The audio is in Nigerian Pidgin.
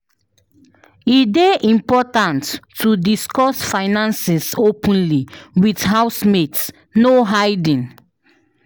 E dey important to discuss finances openly with housemates; no hiding.